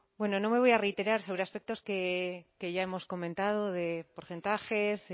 bueno no me voy a reiterar sobre aspectos que ya hemos comentado de porcentajes